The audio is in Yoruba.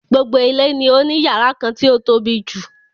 Gbogbo ilé ni ó ní yàrá kan tí o tóbijù.